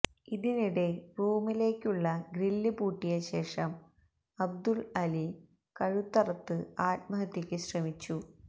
ഇതിനിടെ റൂമിലേക്കുള്ള ഗ്രില്ല് പൂട്ടിയശേഷം അബ്ദുല് അലി കഴുത്തറത്ത് ആത്മഹത്യക്കു ശ്രമിച്ചു